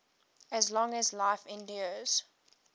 as long as life endures